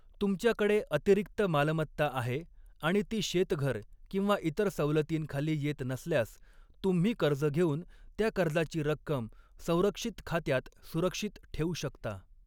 तुमच्याकडे अतिरिक्त मालमत्ता आहे आणि ती शेतघर किंवा इतर सवलतींखाली येत नसल्यास, तुम्ही कर्ज घेऊन त्या कर्जाची रक्कम संरक्षित खात्यात सुरक्षित ठेवू शकता.